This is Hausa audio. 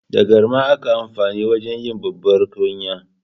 Da garma ake amfani wajen yi babbar kunya.